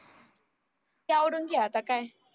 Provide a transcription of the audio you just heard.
आता काय